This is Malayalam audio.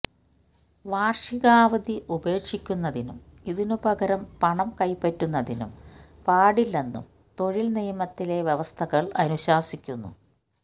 വാർഷികാവധി ഉപേക്ഷിക്കുന്നതിനും ഇതിനു പകരം പണം കൈപ്പറ്റുന്നതിനും പാടില്ലെന്നും തൊഴിൽ നിയമത്തിലെ വ്യവസ്ഥകൾ അനുശാസിക്കുന്നു